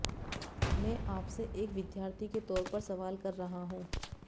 मैं आपसे एक विद्यार्थी के तौर पर सवाल कर रहा हूं